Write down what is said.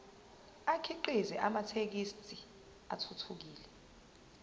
akhiqize amathekisthi athuthukile